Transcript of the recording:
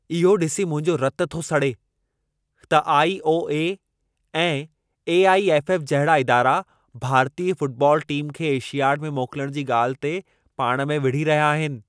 इहो ॾिसी मुंहिंजो रतु थो सड़े त आई.ओ.ए. ऐं ए.आई.एफ.एफ. जहिड़ा इदारा भारतीय फुटबॉल टीम खे एशियाड में मोकलण जी ॻाल्हि ते पाण में विड़ही रहिया आहिनि।